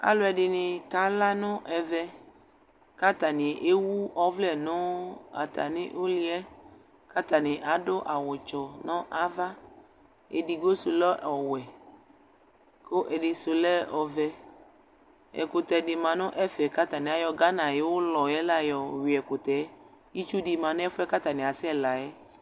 Aluɛdini kala nu ɛvɛ katani ewu ɔvlɛ nu atami iliɛ katani adu awu dzɔ nu ava edigbo du lɛ ɔwɛ ku ɛdisu lɛ ɔvɛ ɛkutɛ di lɛ nu ɛfɛ katani ayɔ Ghana ayu ulɔ yui ɛkutɛ itsu di ma nu ɛfuɛ katani asɛ la yɛ